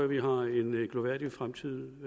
vi har en glorværdig fremtid